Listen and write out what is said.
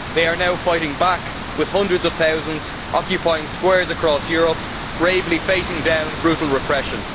They are now fighting back with hundreds of thousands occupying squares across Europe, bravely facing down brutal repression.